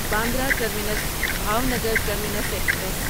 Bandra terminus Bhavnagar terminus express